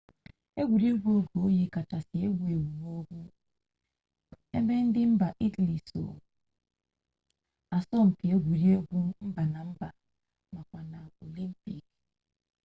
egwuregwu oge oyi kachasị ewu ewu n'ugwu ebe ndị mba italy so asọ mpi n'egwuregwu mba na mba makwa na olimpik